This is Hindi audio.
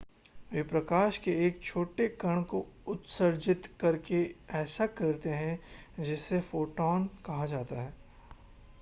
वे प्रकाश के एक छोटे कण को उत्सर्जित करके ऐसा करते हैं जिसे फोटॉन कहा जाता है